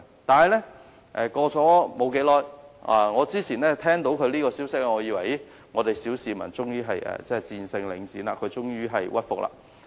當我聽到這個消息時，我還以為小市民終於戰勝領展，終於令領展屈服。